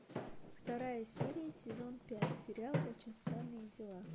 вторая серия сезон пять сериал очень странные дела